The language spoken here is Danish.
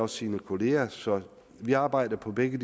sine kollegaer så vi arbejder på begge